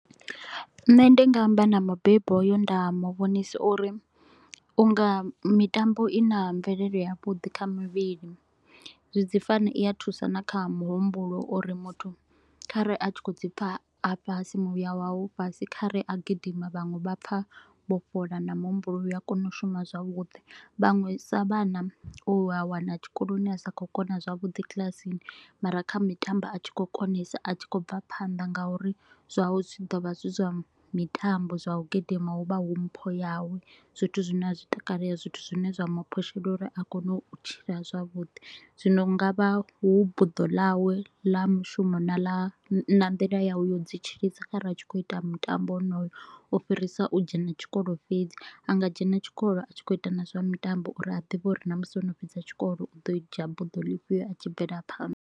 Nṋe ndi nga amba na mubebi hoyo nda mu vhonisa u ri u nga mitambo i na mvelelo yavhuḓi kha mivhili, zwi dzi fana i a thusa na kha muhumbulo u ri muthu kha re a tshi kho u dzi pfa fhasi muya wawe u fhasi. Kha re a gidima vhaṅwe vha pfa vho vhofholowa na muhumbulo u a kona u shuma zwavhuḓi. Vhaṅwe sa vhana u a wana tshikoloni a sa kho u kona zwavhuḓi kilasini mara kha mitambo a tshi kho u konesa a tshi kho u bva phanḓa nga u ri zwawe zwi tshi do vha zwi zwa mitambo, zwa u gidima hu vha hu mpho yawe. Zwithu zwine a zwi takale, zwithu zwine zwa mu phusha uri a kone u tshila zwavhuḓi, zwino nga vha hu buḓo ḽawe la mushumo na ḽa na nḓila yawe ya u dzi tshidza kharali a tshi kho u ita mutambo wonoyo. U fhirisa u dzhena tshikolo fhedzi, a nga dzhena tshikolo a tshi kho u ita na zwa mitambo u ri a ḓivhe uri na musi o no fhedza tshikolo u ḓo dzhia buḓo ḽifhio a tshi bvela phanḓa.